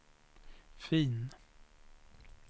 fm